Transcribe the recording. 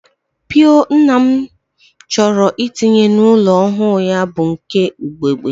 Mpio nna m chọrọ itinye n'ụlọ ọhụụ ya bụ nke ugegbe